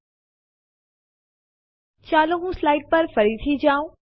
ચાલો પ્રથમ પાછા સ્લાઇડ્સ ઉપર જઈએ